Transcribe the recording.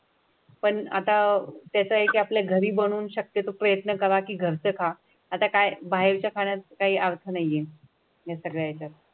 पण आता त्याच आहे की आपल्या घरी बनवून शक्यतो प्रयत्न करा की घरचं का आता काय बाहेरच्या खाण्यात काही अर्थ नाहीये त्याच्यात.